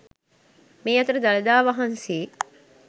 මේ අතර දළදා වහන්සේ